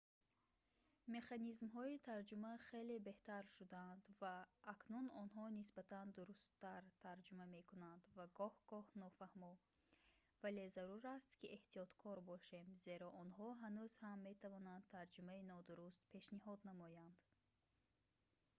механизмҳои тарҷума хеле беҳтар шудаанд ва акнун онҳо нисбатан дурусттар тарҷума мекунанд ва гоҳ-гоҳ нофаҳмо вале зарур аст ки эҳтиёткор бошем зеро онҳо ҳанӯз ҳам метавонанд тарҷумаи нодуруст пешниҳод намоянд